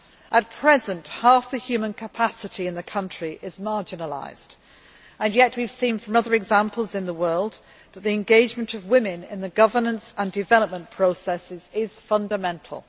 At present, half the human capacity in the country is marginalised, and yet we have seen from other examples in the world that the engagement of women in the governance and development processes is fundamental.